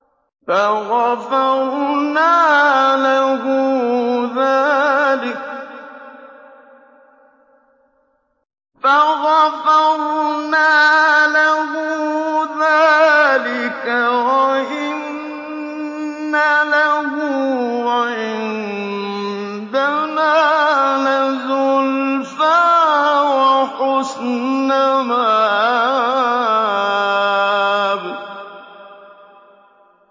فَغَفَرْنَا لَهُ ذَٰلِكَ ۖ وَإِنَّ لَهُ عِندَنَا لَزُلْفَىٰ وَحُسْنَ مَآبٍ